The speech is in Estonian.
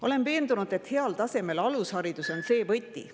Olen veendunud, et heal tasemel alusharidus on võti …